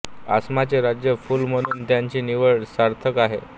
आसामचे राज्य फूल म्हणून त्याची निवड सार्थच आहे